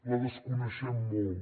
la desconeixem molt